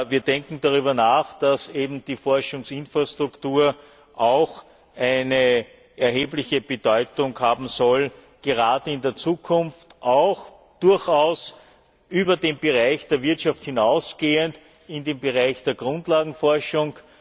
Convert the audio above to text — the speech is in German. Wir denken darüber nach, dass die Forschungsinfrastruktur auch eine erhebliche Bedeutung haben sollte, gerade in der Zukunft, durchaus auch über den Bereich der Wirtschaft hinausgehend im Bereich der Grundlagenforschung.